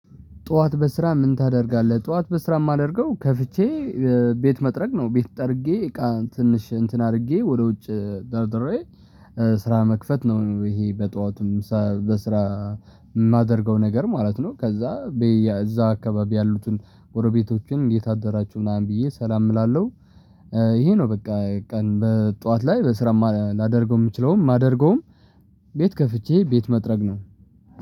ጠዋት በስራ ምን? ታደርጋለህ ጠዋት በስራ የማደርገው ከፍቼ ቤት መጥረግ ነው ቤት ጠርጌ እቃ ትንሽ እንትን አድርጌ ወደ ውጭ ደርደሬ ስራ መክፈት ነው። ይሄ በጧትም ሰ በስራ የማደርገው ነገር ማለት ነው። ከዛ በየ እዛ አካባቢ ያሉትን ጎረቤቶችን እንዴት አደራችሁ ምናምን ብዬ ሰላም እላለሁ። ይሄ ነው በቃ ቀን በጠዋት ላይ በስራ ማ ላደርገው የምችለውም የማደርገውም ቤት ከፍቼ ቤት መጥረግ ነው።